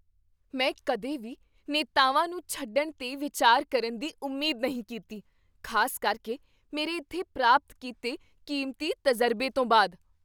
ਮੈਂ ਕਦੇ ਵੀ ਨੇਤਾਵਾਂ ਨੂੰ ਛੱਡਣ 'ਤੇ ਵਿਚਾਰ ਕਰਨ ਦੀ ਉਮੀਦ ਨਹੀਂ ਕੀਤੀ, ਖ਼ਾਸ ਕਰਕੇ ਮੇਰੇ ਇੱਥੇ ਪ੍ਰਾਪਤ ਕੀਤੇ ਕੀਮਤੀ ਤਜ਼ਰਬੇ ਤੋਂ ਬਾਅਦ।